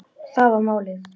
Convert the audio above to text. Það var málið.